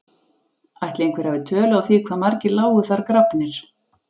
Ætli einhver hafi tölu á því hvað margir lágu þar grafnir?